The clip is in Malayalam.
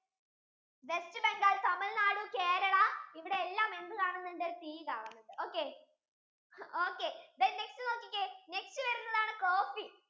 WestBengal, TamilNadu, Kerala ഇവിടെ എല്ലാം എന്ത് കാണുന്നുണ്ട് tea കാണുന്നുണ്ട് okay, okay then next നോക്കിക്കേ next വരുന്നതാണ് coffee